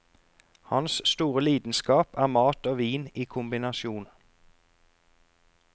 Hans store lidenskap er mat og vin i kombinasjon.